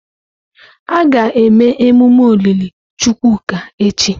A ga-eme emume olili Chukwuka echi.